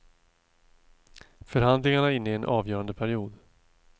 Förhandlingarna är inne i en avgörande period.